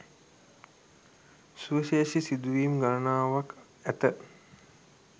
සුවිශේෂී සිදුවීම් ගණනාවක් ඇත